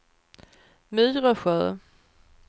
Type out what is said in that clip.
Myresjö